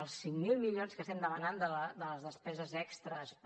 els cinc mil milions que estem demanant de les despeses extres per